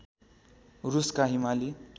रुसका हिमाली